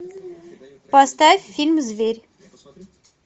поставь фильм зверь